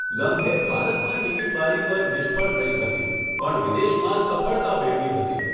લમ્હે ભારતમાં ટિકીટ બારી પર નિષ્ફળ રહી હતી પણ વિદેશમાં સફળતા મેળવી હતી.